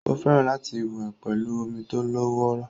Ó fẹ́ràn láti wẹ̀ pẹ̀lú omi tó lọ́wọ́rọ́